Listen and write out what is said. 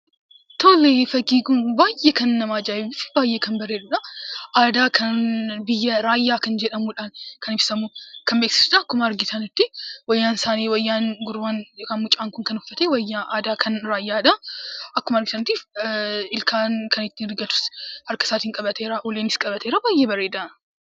Tole fakkiin kun kan namatti miidhaguu fi uummata Oromoo Raayyaa kan ibsuu dha. Gurbaan kunis rigaa ilkaan keessaa kan qabuu fi ulee qabatee kan dhaabachaa jiruu dha.